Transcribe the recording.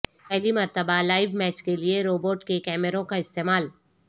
پہلی مرتبہ live match کیلئے روبوٹک کیمروں کا استعمال